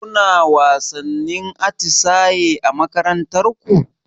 Kuna wasannin atisaye a makarantar ku?